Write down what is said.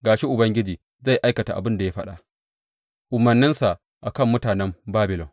Ga shi, Ubangiji zai aikata abin da ya faɗa umarninsa a kan mutanen Babilon.